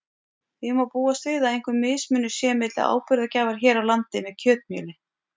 Því má búast við að einhver mismunur sé milli áburðargjafar hér á landi með kjötmjöli.